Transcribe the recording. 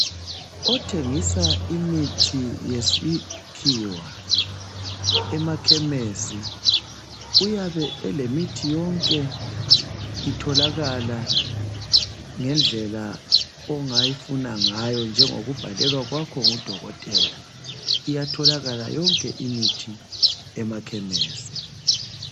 Otshengisa imithi yesikhiwa emakhemisi uyabe elemithi yonke itholakala ngendlela ongayifuna ngayo njengokubhalelwa kwakho ngudokotela. Iyatholakala yonke imithi emakhemesi.